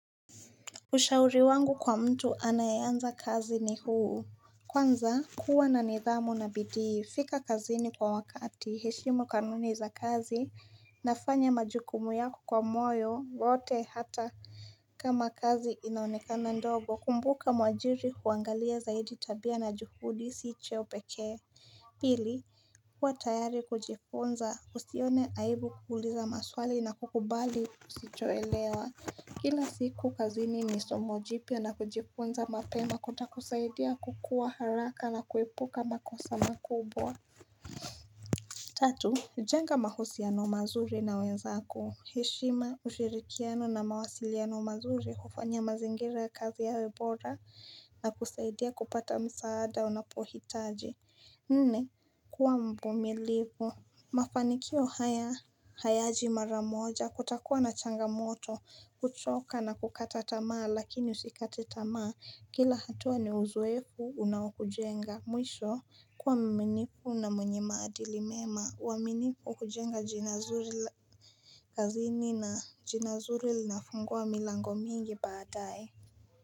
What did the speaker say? Ushauri wangu kwa mtu anayeanza kazi ni huu Kwanza kuwa na nidhamu na bidii fika kazini kwa wakati heshimu kanuni za kazi nafanya majukumu yako kwa moyo wote hata kama kazi inaonekana ndogo kumbuka mwajiri huangalia zaidi tabia na juhudi si cheo peke Pili kuwa tayari kujifunza usione aibu kuuliza maswali na kukubali usichoelewa Kila siku kazini ni somo jipya na kujifunza mapema kuta kusaidia kukuwa haraka na kuepuka makosa makubwa Tatu, jenga mahusiano mazuri na wenzako Hishima ushirikiano na mawasiliano mazuri hufanya mazingira kazi yawe bora na kusaidia kupata msaada unapohitaji Nne, kuwa mvumilivu Mafanikio haya hayaji maramoja kutakuwa na changamoto kuchoka na kukata tamaa lakini usikate tamaa kila hatua ni uzoefu unaukujenga Mwisho kuwa mminifu na mwenye maadili mema uaminifu hujenga jina zuri kazini na jina zuri linafungua milango mingi baadae.